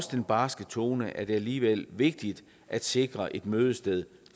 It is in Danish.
den barske tone er det alligevel vigtigt at sikre et mødested